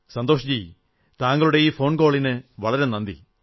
സന്തോഷ്ജി താങ്കളുടെ ഫോൺകോളിന് വളരെ നന്ദി